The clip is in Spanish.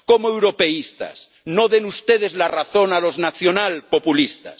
Como europeístas no den ustedes la razón a los nacional populistas.